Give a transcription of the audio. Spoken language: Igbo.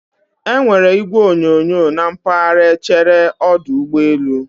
E nwere igwe onyonyo na mpaghara echere ọdụ ụgbọ elu